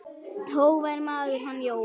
Hógvær maður, hann Jóel.